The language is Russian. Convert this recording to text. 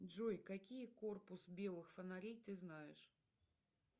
джой какие корпус белых фонарей ты знаешь